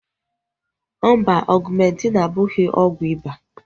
Mba, Ọgumentin abụghị ọgwụ iba